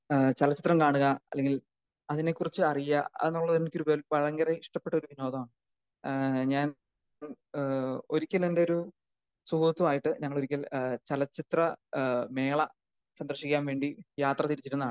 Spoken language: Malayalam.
ഏഹ് ചലച്ചിത്രം കാണുക അല്ലെങ്കിൽ അതിനെ കുറിച്ച് അറിയാ അത് എനിക്ക് ഭയങ്കര ഇഷ്ട്ടപ്പെട്ട ഒരു വിനോദമാണ്. ഏഹ് ഞാൻ ഇപ്പൊ ഒരിക്കൽ എൻ്റെ ഒരു സുഹൃത്തുമായിട്ട് ഞങ്ങൾ ഒരിക്കൽ ചലച്ചിത്ര ഏഹ് മേള സന്ദർഷിക്കാൻ വേണ്ടി യാത്ര തിരിച്ചിരുതാണ്.